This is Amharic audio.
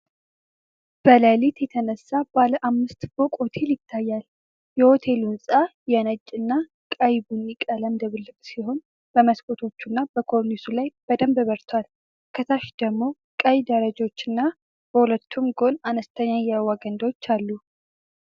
በሌሊት የተነሳ ባለ አምስት ፎቅ ሆቴል ይታያል። የሆቴሉ ሕንጻ የነጭ እና ቀይ ቡኒ ቀለም ድብልቅ ሲሆን፤ በመስኮቶች እና በኮርኒሱ ላይ በደንብ በርቷል። ከታች ደግሞ ቀይ ደረጃዎችና በሁለቱም ጎን አነስተኛ የውሃ ገንዳዎች አሉ።